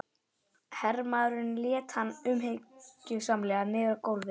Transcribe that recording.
Hermaðurinn lét hann umhyggjusamlega niður á gólfið.